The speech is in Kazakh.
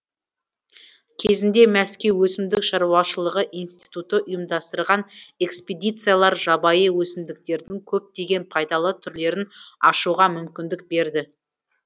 кезінде мәскеу өсімдік шаруашылығы институты ұйымдастырған экспедициялар жабайы өсімдіктердің көптеген пайдалы түрлерін ашуға мүмкіндік берді